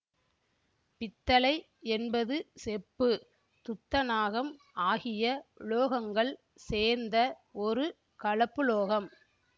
பித்தளை என்பது செப்பு துத்தநாகம் ஆகிய உலோகங்கள் சேர்ந்த ஒரு கலப்புலோகம்